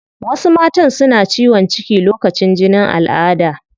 Wasu matan suna ciwon ciki lokacin jinin alada